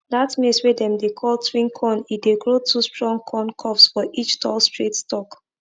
dat maize wey dem dey call twin corn e dey grow two strong corn cobs for each tall straight stalk